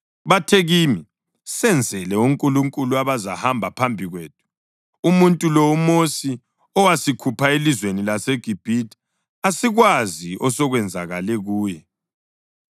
Bathe kimi, ‘Senzele onkulunkulu abazahamba phambi kwethu. Umuntu lo, uMosi owasikhupha elizweni laseGibhithe, asikwazi osokwenzakale kuye.’